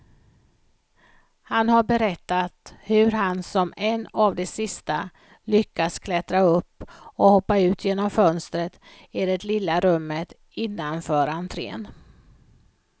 Han har berättat hur han som en av de sista lyckas klättra upp och hoppa ut genom fönstret i det lilla rummet innanför entrén.